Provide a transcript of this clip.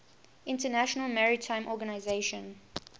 international maritime organization